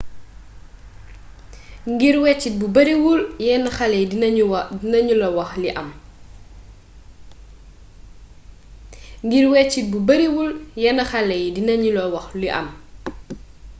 ngir weccit bu bariwul yenn xale dinañu la wax li am